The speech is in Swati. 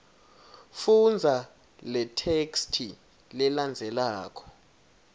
fundza letheksthi lelandzelako